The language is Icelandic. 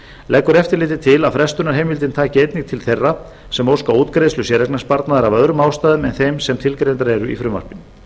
leggur eftirlitið til að frestunarheimildin taki einnig til þeirra sem óska útgreiðslu séreignarsparnaðar af öðrum ástæðum en þeim sem tilgreindar eru í frumvarpinu